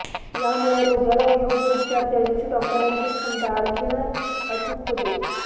यामुळे रोग्याला योग्य उपचार देण्याची डॉक्टरांची क्षमता आणखीन अचूक होते